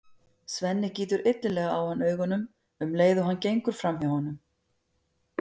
Svenni gýtur illilega á hann augunum um leið og hann gengur fram hjá honum.